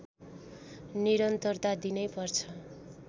निरन्तरता दिनै पर्छ